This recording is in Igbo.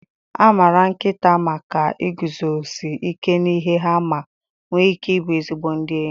A maara nkịta maka iguzosi ike n'ihe ha ma nwee ike ịbụ ezigbo ndị enyi.